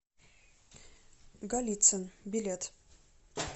голицын билет